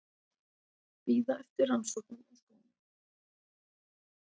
Bíða eftir rannsóknum á skónum